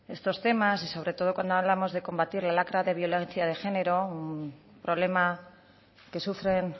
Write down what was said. estos temas y sobre todo cuando hablamos de combatir la lacra de violencia de género un problema que sufren